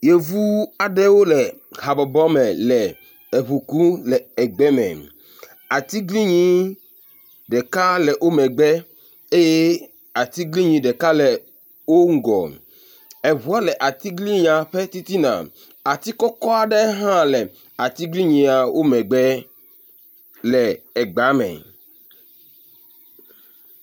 Yevu aɖewo le habɔbɔ me le eŋu kum le egbe me. Atiglinyi ɖeka le wo megbe eye atiglinyi ɖeka le wo ŋgɔ, eŋuɔ le atiglinyi ƒe titina, ati kɔkɔ aɖe hã le atiglinyia wo megbe le egbea me.